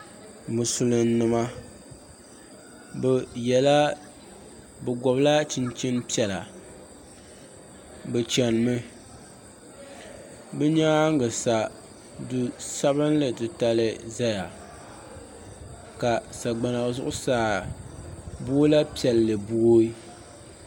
Musilim nima bi gɔbi la chinchin piɛla bi chani mi bi nyaanga sa duu sabinli titali zaya ka sagbana zuɣusaa boola piɛlli booyi.